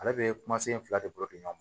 Ale bɛ kuma sen fila de bɔ di ɲɔgɔn ma